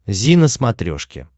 зи на смотрешке